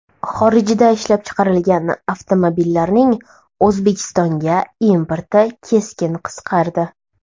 Xorijda ishlab chiqarilgan avtomobillarning O‘zbekistonga importi keskin qisqardi.